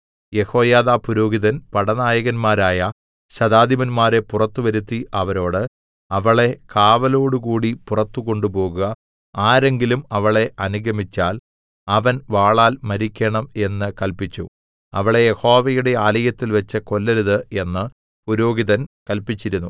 യെഹോയാദാ പുരോഹിതൻ പടനായകന്മാരായ ശതാധിപന്മാരെ പുറത്ത് വരുത്തി അവരോട് അവളെ കാവലോടുകൂടി പുറത്തു കൊണ്ടുപോകുക ആരെങ്കിലും അവളെ അനുഗമിച്ചാൽ അവൻ വാളാൽ മരിക്കേണം എന്ന് കല്പിച്ചു അവളെ യഹോവയുടെ ആലയത്തിൽവെച്ച് കൊല്ലരുത് എന്ന് പുരോഹിതൻ കല്പിച്ചിരുന്നു